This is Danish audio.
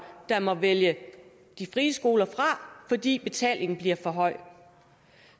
der må vælge de frie skoler fra fordi betalingen bliver for høj